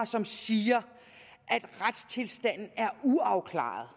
som siger at retstilstanden er uafklaret